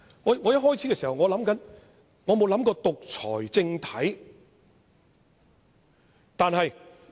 一開始時，我沒有想過獨裁政體。